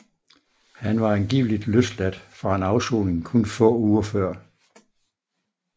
Han var angiveligt løsladt fra en afsoning kun få uger før